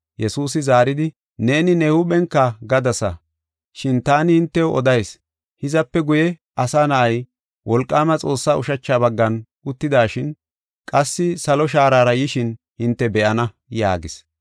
Yesuusi zaaridi, “Neeni ne huuphenka gadasa. Shin taani hintew odayis; hizape guye, Asa Na7ay wolqaama Xoossaa ushacha baggan uttidashin, qassi salo shaarara yishin hinte be7ana” yaagis.